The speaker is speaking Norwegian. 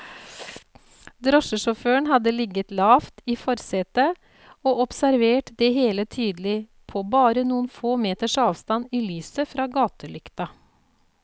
Drosjesjåføren hadde ligget lavt i forsetet og observert det hele tydelig, på bare noen få meters avstand i lyset fra gatelykta.